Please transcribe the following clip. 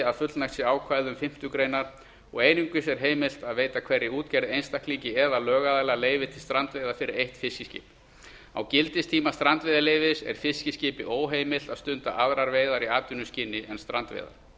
að fullnægt sé ákvæðum fimmtu greinar og einungis er heimilt að veita hverri útgerð einstaklingi eða lögaðila leyfi til strandveiða fyrir eitt fiskiskip á gildistíma strandveiðileyfis er fiskiskipi óheimilt að stunda aðrar veiðar í atvinnuskyni en strandveiðar